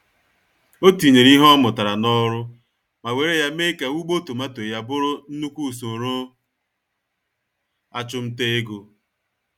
Otinyere ìhè ọ mụtara n'ọrụ, ma wéré ya mee ka ugbo tomato ya bụrụ nnukwu usoro achumtaego.